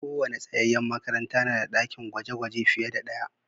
Kowane tsayayyen makaranta na da ɗakin gwaje-gwaje fiye da ɗaya.